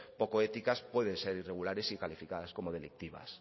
poco éticas pueden ser irregulares y calificadas como delictivas